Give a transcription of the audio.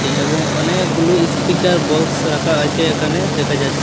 এবং অনেকগুলো speaker box রাকা আচে একানে দেখা যাচ্চ--